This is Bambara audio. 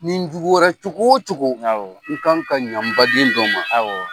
Ni n juguyara cogo o cogo n kan ka ɲɛ n baden dɔ ma. Awɔ.